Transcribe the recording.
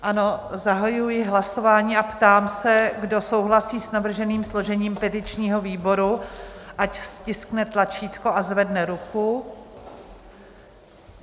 Ano, zahajuji hlasování a ptám se, kdo souhlasí s navrženým složením petičního výboru, ať stiskne tlačítko a zvedne ruku.